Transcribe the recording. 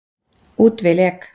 Út vil ek.